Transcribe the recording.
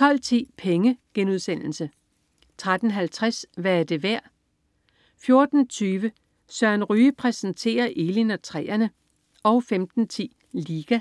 12.10 Penge* 13.50 Hvad er det værd?* 14.20 Søren Ryge præsenterer Elin og træerne* 15.10 Liga*